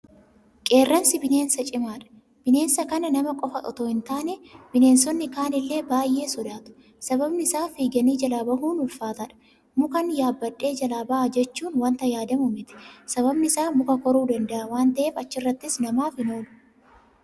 Qeerransi bineensa cimaadha. Bineensa kana nama qofa itoo hi taane bineensonni kaanillee baay'ee sodaatu. Sababni isaa fiiganii jalaa bahuun ulfaataadha. Mukan yaabbadhee jalaa baha jechuun waanta yaadamu miti. Sababni isaa muka koruu danda'a waan ta'eef achirrattis namaaf hin oolu.